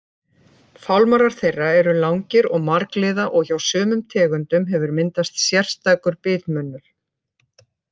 Fálmarar þeirra eru langir og margliða og hjá sumum tegundum hefur myndast sérstakur bitmunnur.